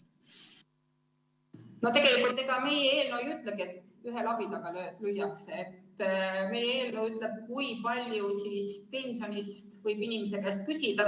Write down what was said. Tegelikult ega meie eelnõu ei ütlegi, et ühe labidaga lüüakse, meie eelnõu ütleb, kui palju pensionist võib inimese käest küsida.